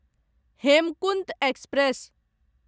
Hemkunt express